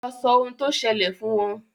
lọ sọ ohun tó sẹlẹ̀ fún wọn